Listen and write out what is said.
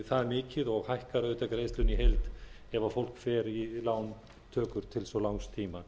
það mikið og hækkar auðvitað greiðsluna í heild ef fólk fer í lántökur til svo langs tíma